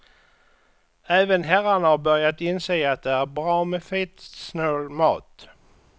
Även herrarna har börjat inse att det är bra med fettsnål mat.